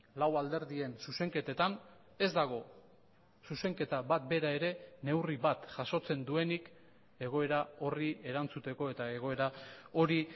lau alderdien zuzenketetan ez dago zuzenketa bat bera ere neurri bat jasotzen duenik egoera horri erantzuteko eta egoera hori